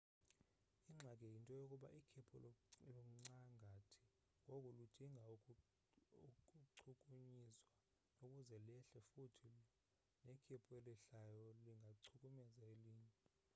ingxaki yinto yokuba ikhephu luncangathi ngoku ludinga ukuchukunyiswa ukuze lehle futhi nekhephu elehlayo lingachukumeza elinye